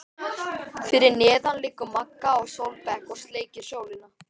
Fyrir neðan liggur Magga á sólbekk og sleikir sólina.